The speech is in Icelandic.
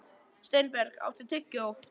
Steinberg, áttu tyggjó?